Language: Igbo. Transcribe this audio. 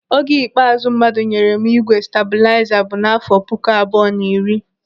Oge ikpeazụ mmadụ nyere m ígwè stabuliza bụ n'afọ puku abụọ na iri.